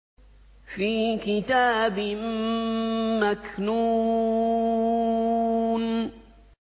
فِي كِتَابٍ مَّكْنُونٍ